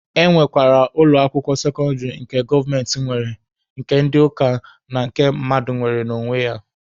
E nwekwara ụlọ akwụkwọ sekọndịrị nke gọọmenti nwe, nke ndị ụka na nke mmadụ nwere n'onwe ya.